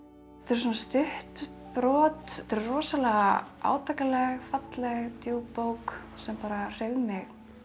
þetta eru stutt brot þetta rosalega átakanleg falleg djúp bók sem bara hreif mig